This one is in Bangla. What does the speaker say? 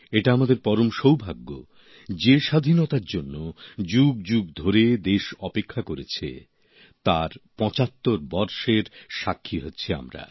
এটা আমাদের পরম সৌভাগ্য যে স্বাধীনতার জন্য যুগযুগ ধরে দেশ অপেক্ষা করেছে তার পঁচাত্তর বর্ষের সাক্ষী হচ্ছি আমরা